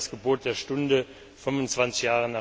Das wäre das Gebot der Stunde, 25